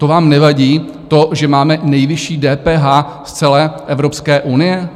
To vám nevadí to, že máme nejvyšší DPH z celé Evropské unie?